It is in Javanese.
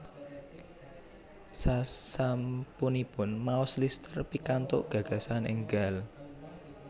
Sasampunipun maos Lister pikantuk gagasan enggal